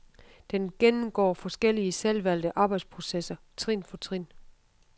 Den gennemgår forskellige selvvalgte arbejdsprocesser trin for trin.